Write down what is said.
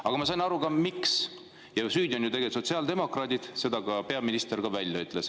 Aga ma sain ka aru, miks: süüdi on ju tegelikult sotsiaaldemokraadid, seda ka peaminister ütles välja.